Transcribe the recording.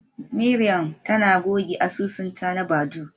Mariam tana goge asusunta na Badoo.